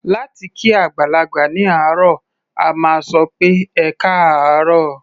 Láti kí àgbàlagbà ní àárọ̀, a máa sọ pé "ẹkáàárọ̀".